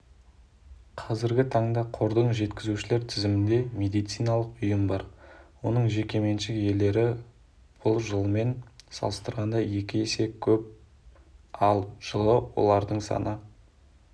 қазіргі таңда қордың жеткізушілер тізімінде медициналық ұйым бар оның жекеменшік иелері бұл жылмен салыстырғанда екі есе көп ал жылы олардың саны